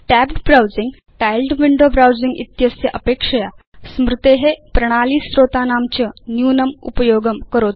tapped browsing tiled window browsing इत्यस्य अपेक्षया स्मृते प्रणाली स्रोतानां च न्यूनम् उपयोगं करोति